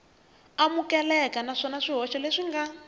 amukeleka naswona swihoxo leswi nga